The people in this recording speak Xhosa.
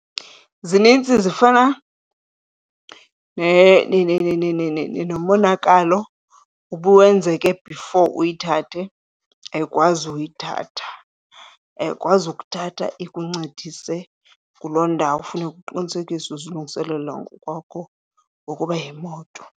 Zininzi zifana nomonakalo ubuwenzeke before uyithathe, ayikwazi uyithatha. Ayikwazi ukuthatha ikuncedise kuloo ndawo, funeka uqinisekise uzilungiselela ngokwakho ngokuba yimoto.